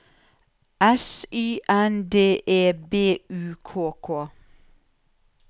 S Y N D E B U K K